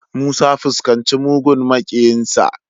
Musa fuskaci mugun makiyinsa.